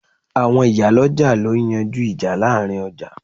Àwọn ìyálọ́jà ló ń yanjú ìjà láàrin ọjà